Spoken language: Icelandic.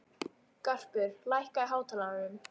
Garpur, lækkaðu í hátalaranum.